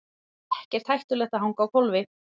Ekkert hættulegt að hanga á hvolfi